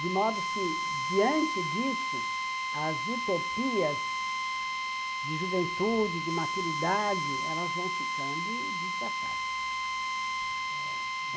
De modo que, diante disso, as utopias de juventude, de maturidade, elas vão ficando desgatadas.